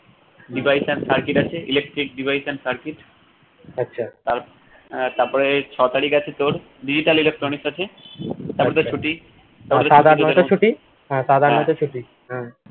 device and circuit আছে electric device and circuit তার আহ তারপরে ছ তারিখ আছে তোর digital electronics আছে তারপর তো ছুটি হ্যা